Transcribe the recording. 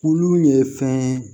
Olu ye fɛn ye